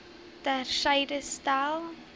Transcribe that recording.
ter syde stel